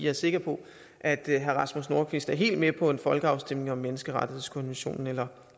er sikker på at herre rasmus nordqvist er helt med på en folkeafstemning om menneskerettighedskonventionen eller